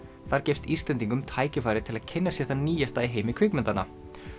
þar gefst Íslendingum tækifæri til að kynna sér það nýjasta í heimi kvikmyndanna